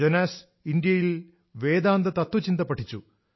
Jonas ഇന്ത്യയിൽ വേദാന്ത തത്ത്വചിന്ത പഠിച്ചു